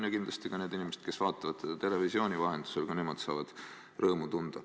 Ja kindlasti ka need inimesed, kes vaatavad teda televisiooni vahendusel, saavad rõõmu tunda.